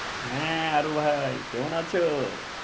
হ্যাঁ হারু ভাই কেমন আছো?